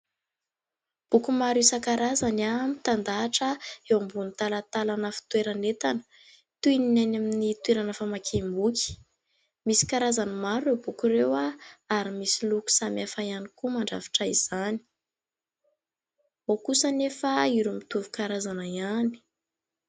Boky maro isan-karazany mitandahatra eo ambonin'ny talantalana fitoeran'entana. Toy ny any amin'ny toerana famakiam-boky, misy karazany maro ireo boky ireo ary misy loko samihafa ihany koa mandrafitra izany, ao kosa anefa ireo mitovy karazana ihany.